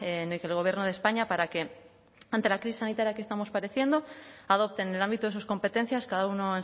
en la que el gobierno de españa para que ante la crisis sanitaria que estamos padeciendo adopte en el ámbito de sus competencias cada uno